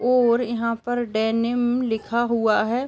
और यहाँ पर डेनिम लिखा हुआ है।